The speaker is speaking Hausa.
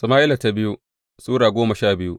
biyu Sama’ila Sura goma sha biyu